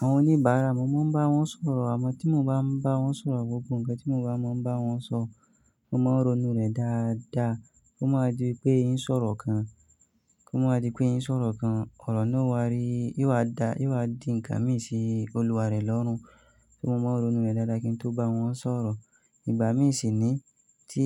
Àwọn oníbàárà, mo máa ń bá wọn sọ̀rọ̀. Àmọ́ tí mo bá ń bá wọn sọ̀rọ̀ gbogbo ǹkan tí mo bá mọ̀ ń bá wọn sọ, mo máa ń ronú rẹ̀ dáadáa kó máa wa di wipé n sọ̀rọ̀ kan, kí ó máa wa di pé n sọ̀rọ̀ kan ọ̀rọ̀ náà o wá rí, yo wá da, yo wá di ǹkan míì sí olúwa rẹ̀ lọ́rùn. So mo máa n ronú re dáadáa kí n tó bá wọn sọ̀rọ̀. Ìgbà mí ì ṣi ni tí,